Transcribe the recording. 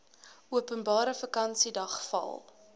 openbare vakansiedag val